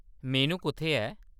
मेनू कुʼत्थै ऐ ?